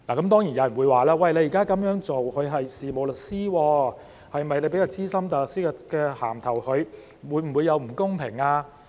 當然，有人會說現時這樣做，一個事務律師，給予他資深大律師的名銜，會否有不公平？